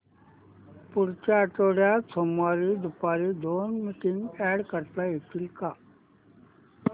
पुढच्या आठवड्यात सोमवारी दुपारी दोन मीटिंग्स अॅड करता येतील का